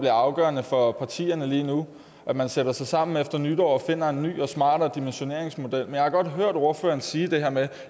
er afgørende for partierne lige nu at man sætter sig sammen efter nytår og finder frem til en ny og smartere dimensioneringsmodel men jeg har godt hørt ordføreren sige det her med